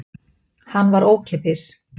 Hann var ókeypis.